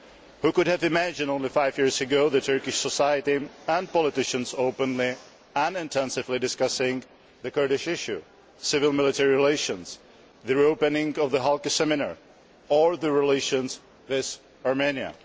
Who would have imagined only five years ago Turkish society and politicians openly and intensively discussing the Kurdish issue, civil military relations, the reopening of the Halki seminar or relations with Romania?